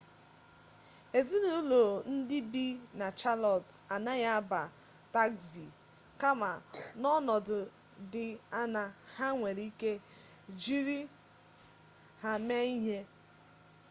ezinụlọ ndị bi na chalọt anaghị aba tagzi kama n'ọnọdụ dị añaa ha nwere ike jiri ha mee ihe